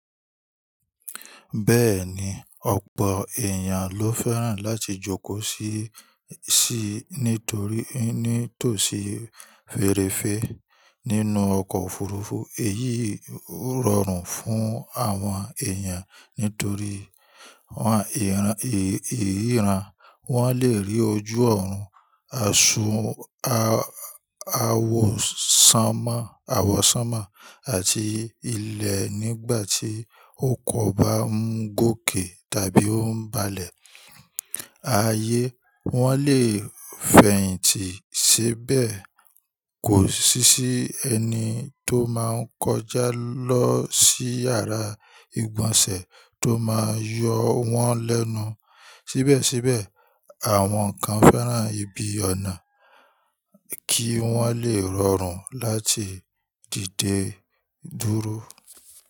Bẹ́ẹ̀ni, ọ̀pọ̀ èèyàn ló fẹ́ràn láti jókòó síi nítorí nítòsí férefé nínú ọkọ̀ òfurufú. Èyí yii o rọrùn fún àwọn èèyàn nítorí ìríran, wọ́n le rí ojú ọ̀run awọsanma àwọ̀sánmà àti ilẹ̀ nígbàtí ọkọ̀ bá ń gòkè tàbí ń balẹ̀. Ayé wọ́n lè fẹ̀yìntì ṣébẹ̀ kò sí sí ẹni tó máa ń kọjá lọ sí yàrá ìgbọ̀nsẹ̀ tó máa yọ wọ́n lẹ́nu. Síbẹ̀síbẹ̀, àwọn kan fẹ́ràn ibi ọ̀nà kí wọ́n lè rọrùn láti dìde dúró.